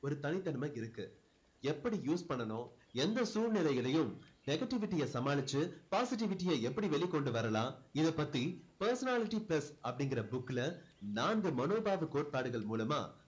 ஒரு தனித்தன்மை இருக்கு எப்படி use பண்ணணும் எந்த சூழ்நிலையிலேயும் negativity அ சமாளிச்சு positivity அ எப்படி வெளிக்கொண்டு வரலாம் இதை பத்தி personality plus அப்படிங்குற book ல நான்கு மனோபாவ கோட்பாடுகள் மூலமா